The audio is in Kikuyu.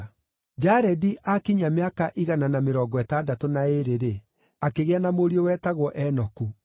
Jaredi aakinyia mĩaka igana na mĩrongo ĩtandatũ na ĩĩrĩ-rĩ, akĩgĩa na mũriũ wetagwo Enoku.